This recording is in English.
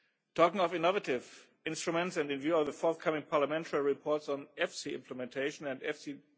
Talking of innovative instruments and in view of the forthcoming parliamentary reports on EFSI Implementation and EFSI